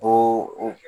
O o